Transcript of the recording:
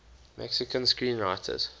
mexican screenwriters